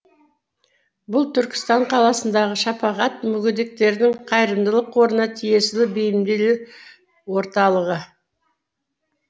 бұл түркістан қаласындағы шапағат мүгедектердің қайырымдылық қорына тиесілі бейімделі орталығы